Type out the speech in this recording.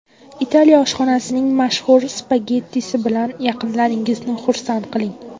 Italiya oshxonasining mashhur spagettisi bilan yaqinlaringizni xursand qiling!.